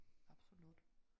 Absolut